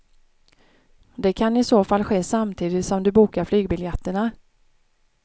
Det kan i så fall ske samtidigt som du bokar flygbiljetterna.